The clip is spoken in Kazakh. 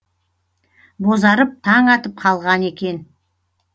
бозарып таң атып қалған екен